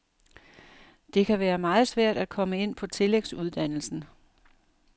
Det kan være meget svært at komme ind på tillægsuddannelsen.